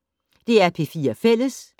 DR P4 Fælles